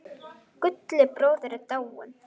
Gulli bróðir er dáinn.